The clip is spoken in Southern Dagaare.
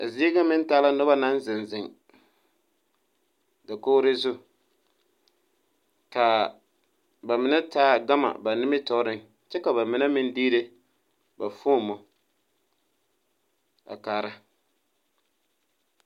A zie nga meng taa la nuba nang zeng zeng dakouri zu kaa ba menne taa gama ba nimitoore kye ka ba menne meng diire ba foɔmo a kaara.